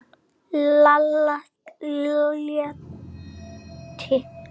Lalla létti.